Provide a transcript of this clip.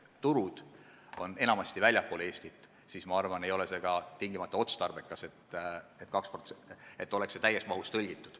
Kui aga turud on enamasti väljaspool Eestit, siis ehk ei ole otstarbekas, et tekst oleks täies mahus tõlgitud.